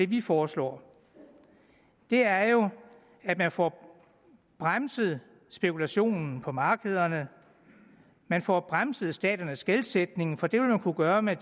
vi foreslår er jo at man får bremset spekulationen på markederne man får bremset staternes gældsætning for det vil man kunne gøre med